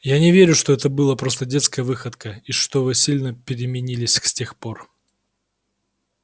я не верю что это была просто детская выходка и что вы сильно переменились с тех пор